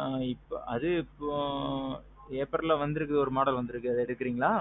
ஆ. அது இப்போ Aprilல வந்திருக்கு ஒரு model வந்திருக்கு அத எடுக்கிறீங்களா?